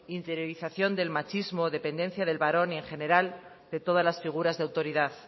interiorización del machismo dependencia del varón y en general de todas las figuras de autoridad